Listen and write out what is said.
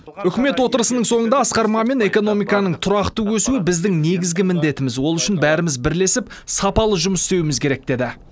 үкімет отырысының соңында асқар мамин экономиканың тұрақты өсуі біздің негізгі міндетіміз ол үшін бәріміз бірлесіп сапалы жұмыс істеуіміз керек деді